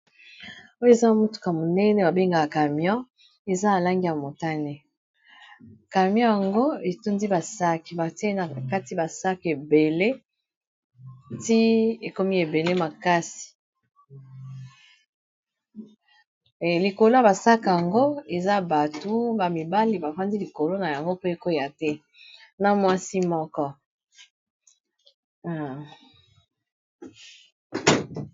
Oyo eza motuka monene babengaka camyon eza alangi ya motane camion yango etundi basak te nakati basak ebele ti ekomi ebele makasi likolo ya basak yango eza batu ba mibale bafandi likolo na yango po ekoya te na mwasi moko.